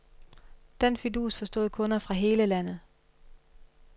Den fidus forstod kunder fra hele landet.